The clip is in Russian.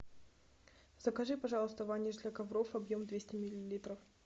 закажи пожалуйста ваниш для ковров объем двести миллилитров